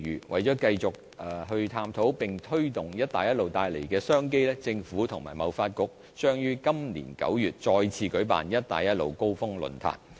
為了繼續探討並推動"一帶一路"帶來的商機，政府與貿發局將於今年9月再次舉辦"一帶一路"高峰論壇。